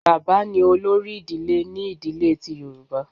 Bàbá ni olórí ìdílé ni ìdílé ti Yorùbá.